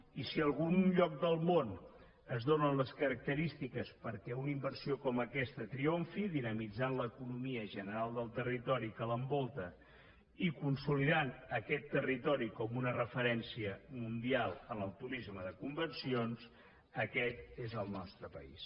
i si en algun lloc del món es donen les característiques perquè una inversió com aquesta triomfi i dinamitzi l’economia general del territori que l’envolta i consolidi aquest territori com una referència mundial en el turisme de convencions aquest és el nostre país